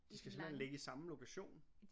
De skal simpelthen ligge i samme lokation?